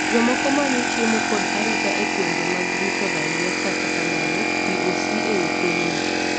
jomoko manyo chiemo kod arita e gwenge mag rito raia kata kamano POC e i pinyno.